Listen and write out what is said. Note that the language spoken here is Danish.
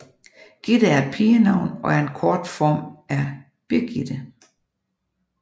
Gitte er et pigenavn og er en kortform af Birgitte